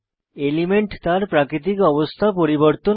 element তার প্রাকৃতিক অবস্থা পরিবর্তন করে